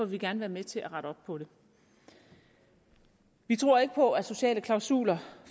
vi gerne være med til at rette op på det vi tror ikke på at sociale klausuler